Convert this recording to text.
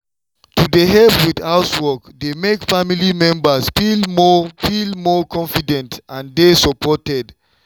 to dey help with housework dey make family members feel more feel more confident and dey supported.